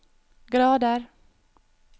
grader